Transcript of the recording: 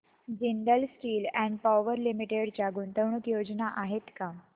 Jindal steel and power limited च्या गुंतवणूक योजना आहेत का